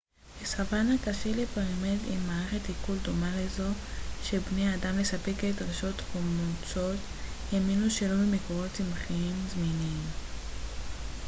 בסוואנה קשה לפרימט עם מערכת עיכול דומה לזו של בני האדם לספק את דרישות חומצות האמינו שלו ממקורות צמחיים זמינים